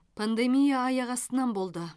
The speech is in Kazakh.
пандемия аяқ астынан болды